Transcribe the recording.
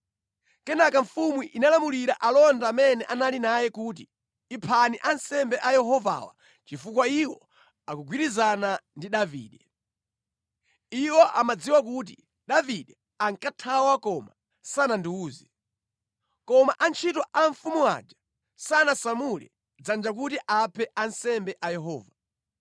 Kenaka mfumu inalamulira alonda amene anali naye kuti, “Iphani ansembe a Yehovawa chifukwa iwo akugwirizana ndi Davide. Iwo amadziwa kuti Davide ankathawa koma sanandiwuze.” Koma antchito a mfumu aja sanasamule dzanja kuti aphe ansembe a Yehova.